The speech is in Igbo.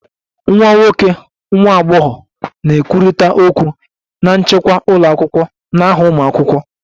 Nwa nwoke / nwa agbọghọ na-ekwurịta okwu na nchịkwa ụlọ akwụkwọ n'aha ụmụ akwụkwọ